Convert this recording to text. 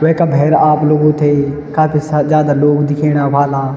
वेका भैर आप लोगु थै काफी सा जादा लोग दिखेणा व्हाला।